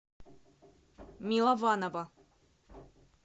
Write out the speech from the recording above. милованова